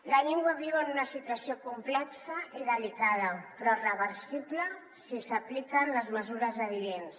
la llengua viu en una situació complexa i delicada però reversible si s’apliquen les mesures adients